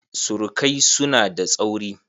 Surukaisu na da tsauri.